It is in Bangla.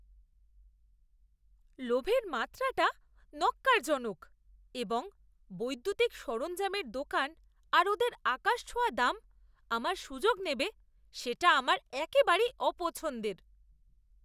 লোভের মাত্রাটা ন্যক্কারজনক, এবং বৈদ্যুতিক সরঞ্জামের দোকান আর ওদের আকাশছোঁয়া দাম আমার সুযোগ নেবে সেটা আমার একেবারেই অপছন্দের।